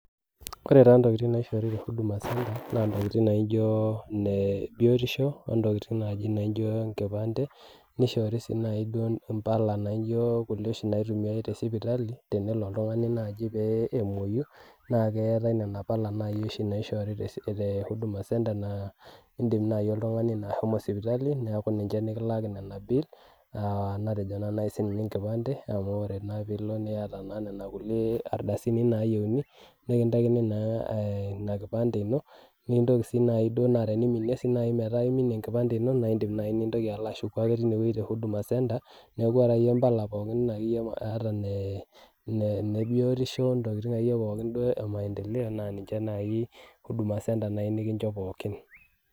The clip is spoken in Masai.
Ore taa ntokitin naishoru te huduma centre naa ntokitin naijo ine biotisho ontokitin naijo ine nkipande. nishoori sii duo mpala naijo nkulie oshi naitumiae te sipitali. tenelo oltungani naaji pee emuoyu. naa keetae Nena pala oshi naishoori te huduma centre naa idim naaji oltungani ashomo sipitali neeku ninche nikilaaki Nena bill natejo naa naaji sii ninye enkipande. amu ore naa piilp niyata naa Nena kulie ardasini nayieuni. nikintaikini naa Ina kipande ino. nikintoki sii naaji duo. naa teneiminie. metaa sii naaji iminie enkipande ino naa idim naaji nilo ashuku ake teine wueji te huduma centre. neeku iyeta iyie mpaka pookin ake ata ine ine biotisho intokitin akeyie pookin e maendeleo naa ninche naaji . huduma centre naaji nikincho pookin